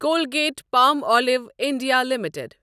Colgate Palmolive India limited